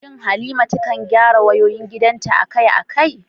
Shin Halima ta kan gyara wayoyin gidanta akai-akai?